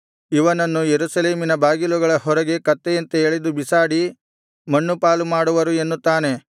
ಇವನನ್ನು ಯೆರೂಸಲೇಮಿನ ಬಾಗಿಲುಗಳ ಹೊರಗೆ ಕತ್ತೆಯಂತೆ ಎಳೆದು ಬಿಸಾಡಿ ಮಣ್ಣುಪಾಲು ಮಾಡುವರು ಎನ್ನುತ್ತಾನೆ